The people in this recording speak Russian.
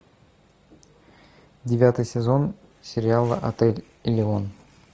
девятый сезон сериала отель элеон